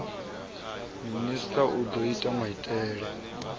minista u do ta maiteie